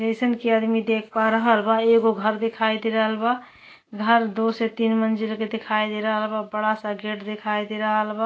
जइसन कि आदमी देख पा रहल बा। एगो घर दिखाई दे रहल बा घर दो से तीन मंजीरे पे दिखाई दे रहल बा बड़ा से गेट दिखाई दे रहल बा।